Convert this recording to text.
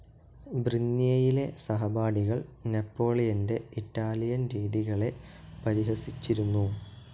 ബ്രിന്ന്യേയിലെ സഹപാഠികൾ നെപോളിയന്റെ ഇറ്റാലിയൻ രീതികളെ പരിഹസിച്ചിരുന്നു.